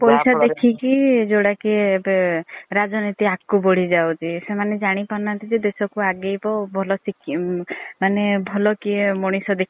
ପଇସା ଦେଖିକି ଜୋଉଟା କି ଏବେ ରାଜନୀତି ଆଗକୁ ବଢି ଯାଉଛି। ସେମାନେ ଜାଣି ପାରୁନାହାନ୍ତି ଯେ ଦେଶକୁ ଆଗେଇବ ଭଲ ସିକିମ ମାନେ ଭଲ କିଏ ମନିଷ ଦେଖିବା